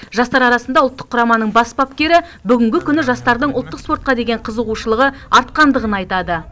жастар арасында ұлттық құраманың бас бапкері бүгінгі күні жастардың ұлттық спортқа деген қызығушылығы артқандығын айтады